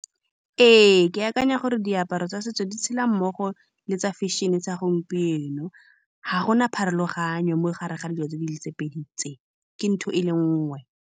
Ee, ke akanya gore diaparo tsa setso di tshela mmogo le tsa fashion-e tsa gompieno. Ga gona pharologano mogare ga dilo tse di le tse pedi tse, ke ntho e le nngwe.